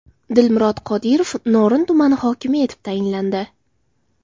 Dilmurod Qodirov Norin tumani hokimi etib tayinlandi.